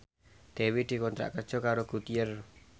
Dewi dikontrak kerja karo Goodyear